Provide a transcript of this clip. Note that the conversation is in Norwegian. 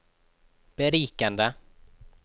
berikende